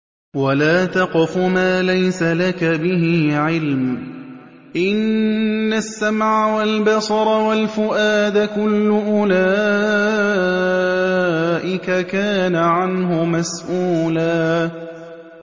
وَلَا تَقْفُ مَا لَيْسَ لَكَ بِهِ عِلْمٌ ۚ إِنَّ السَّمْعَ وَالْبَصَرَ وَالْفُؤَادَ كُلُّ أُولَٰئِكَ كَانَ عَنْهُ مَسْئُولًا